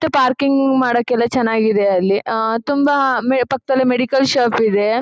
ಮತ್ತೆ ಪಾರ್ಕಿಂಗ್ ಮಾಡಾಕೆಲ್ಲ ಚೆನ್ನಾಗಿದೆ ಅಲ್ಲಿ ಆ ತುಂಬಾ ಪಕ್ಕದಲ್ಲಿ ಮೆಡಿಕಲ್ ಶಾಪ್ ಇದೆ.